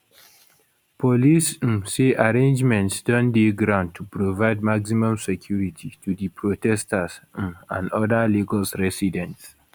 police um say arrangements don dey ground to provide maximum security to di protesters um and oda lagos residents